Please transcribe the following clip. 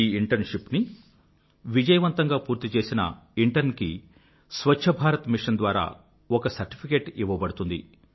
ఈ ఇంటర్న్షిప్ ని విజయవంతంగా పూర్తిచేసే ప్రత్యేకమైన ఇంటర్న్ కి స్వఛ్ఛ భారత మిషన్ ద్వారా ఒక సర్టిఫికెట్ ఇవ్వబడుతుంది